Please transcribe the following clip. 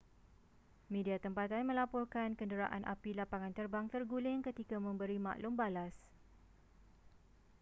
media tempatan melaporkan kenderaan api lapangan terbang terguling ketika memberi maklum balas